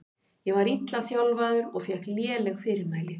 Ég var illa þjálfaður og fékk léleg fyrirmæli.